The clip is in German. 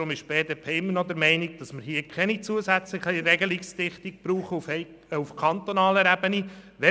Die BDP ist deshalb noch immer der Meinung, dass wir keine zusätzlichen Regelungen auf kantonaler Ebene brauchen.